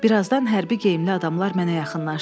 Birazdan hərbi geyimli adamlar mənə yaxınlaşdı.